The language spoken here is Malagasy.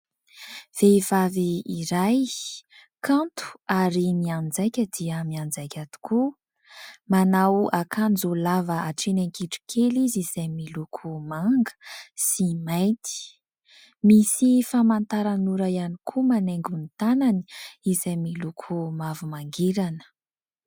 Vehivavy iray kanto ary mianjaika dia mianjaika tokoa, manao akanjo lava hatreny an-kitrokely izy izay miloko manga sy mainty, misy famantaranora ihany koa manaingo ny tanany izay miloko mavo mangirana.